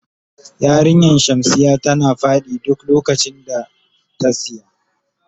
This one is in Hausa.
Yarinyan shamsiya tana fadi duk lokacin da ta siya.